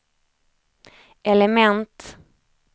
element